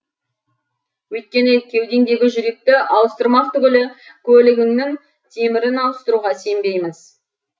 өйткені кеудеңдегі жүректі ауыстырмақ түгілі көлігіңнің темірін ауыстыртуға сенбейміз